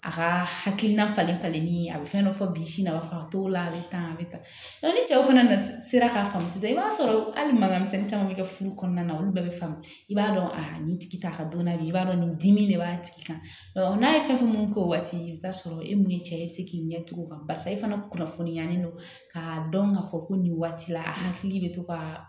A ka hakilina falen falenni a bɛ fɛn dɔ fɔ bi sini a bɛ fa t'o la a bɛ tan a bɛ tan ni cɛw fana na sera k'a faamu sisan i b'a sɔrɔ hali mana misɛnnin caman bɛ kɛ furu kɔnɔna na olu bɛɛ bɛ faamu i b'a dɔn a nin tigi t'a ka dɔnna bi i b'a dɔn nin dimi de b'a tigi kan n'a ye fɛn mun k'o waati i bɛ taa sɔrɔ e mun ye cɛ ye i bɛ se k'i ɲɛ t'o kan barisa e fana kunnafoniyalen don k'a dɔn k'a fɔ ko nin waati la a hakili bɛ to ka